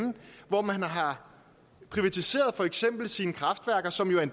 hvor man har privatiseret for eksempel sine kraftværker som jo er